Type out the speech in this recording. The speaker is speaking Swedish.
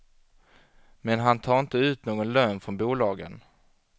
Men han tar inte ut någon lön från bolagen.